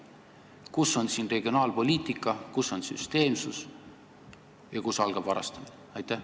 Kus on siin regionaalpoliitika, kus on süsteemsus ja kust algab varastamine?